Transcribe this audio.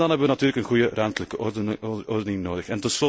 En dan hebben we natuurlijk een goede ruimtelijke ordening nodig.